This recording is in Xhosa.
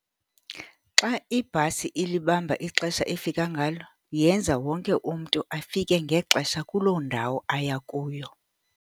Xa ibhasi ilibamba ixesha efika ngalo, yenza wonke umntu afike ngexesha kuloo ndawo aya kuyo.